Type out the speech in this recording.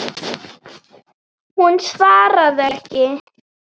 Hún svaraði ekki.